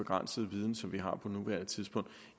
begrænsede viden som vi har på nuværende tidspunkt